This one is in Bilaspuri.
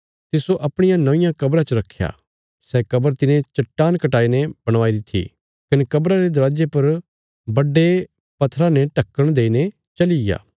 तिस्सो अपणिया नौंईयां कब्रा च रखया सै कब्र तिने चट्टान कटाई ने बणवाई री थी कने कब्रा रे दरवाजे पर बड्डे पत्थरा ने ढक्कण देईने चलीया